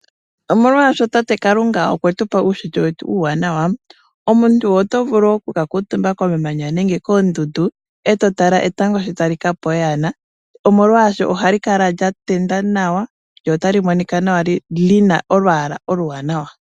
Omolwashoka Tate Kalunga okwetupa uushitwe wetu uuwanawa omuntu otovulu oku ka kuutumba komamanya nenge koondundu etotala etango sho tali kapa oyana molwaashoka, ohali kala lyatenda nawa lyo otali monika nawa lina olwaala oluwanawa.